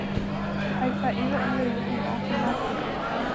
Waxay faa'iido u leeyihiin caafimaadka guud.